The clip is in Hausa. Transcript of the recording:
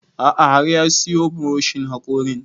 A'a har ya siyo buroshin haƙorin